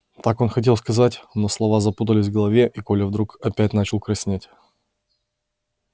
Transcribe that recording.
так он хотел сказать но слова запутались в голове и коля вдруг опять начал краснеть